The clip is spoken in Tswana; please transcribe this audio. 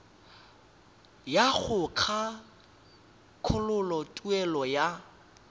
ya go kgakololo tuelo ya